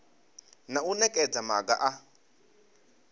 na u nekedza maga a